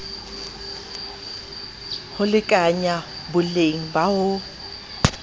ho lekanya boleng ba ho